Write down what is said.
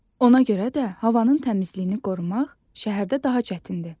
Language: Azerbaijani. Ona görə də havanın təmizliyini qorumaq şəhərdə daha çətindir.